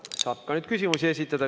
Nüüd saab ka küsimusi esitada.